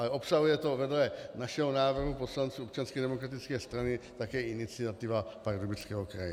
Ale obsahuje to vedle našeho návrhu poslanců Občanské demokratické strany také iniciativa Pardubického kraje.